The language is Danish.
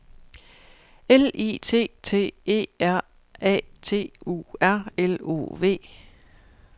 L I T T E R A T U R L O V